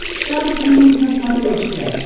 шант ньюс на смотрешке